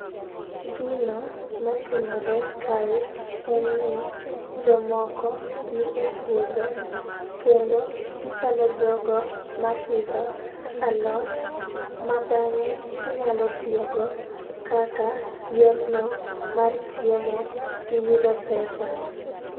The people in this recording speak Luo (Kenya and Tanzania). Gino matimore kae en ni jomoko nie puodho kendo gichalo jogo mapidho alot ma bang'e ginyalo tiyo go kaka yorno mar chiemo gi yudo pesa